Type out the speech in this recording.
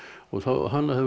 hann hafði